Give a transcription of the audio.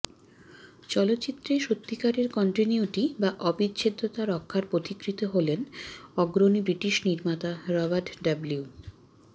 চলচ্চিত্রে সত্যিকারের কন্টিন্যুইটি বা অবিচ্ছেদ্যতা রক্ষার পথিকৃৎ হলেন অগ্রণী ব্রিটিশ নির্মাতা রবার্ট ডবলিউ